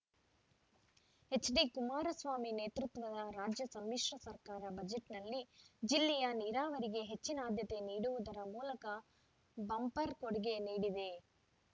ಎಚ್‌ಡಿಕುಮಾರಸ್ವಾಮಿ ನೇತೃತ್ವದ ರಾಜ್ಯ ಸಮ್ಮಿಶ್ರ ಸರ್ಕಾರ ಬಜೆಟ್‌ನಲ್ಲಿ ಜಿಲ್ಲೆಯ ನೀರಾವರಿಗೆ ಹೆಚ್ಚಿನ ಅದ್ಯತೆ ನೀಡುವುದರ ಮೂಲಕ ಬಂಪರ್‌ ಕೊಡುಗೆ ನೀಡಿದೆ